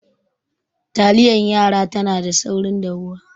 Taliyar yara tana da saurin dahuwa